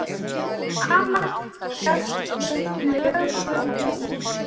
Amast skal við lögnum lítt.